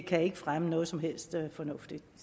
kan ikke fremme noget som helst fornuftigt